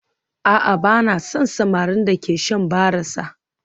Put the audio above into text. A'a ba na son samarin da ke shan barasa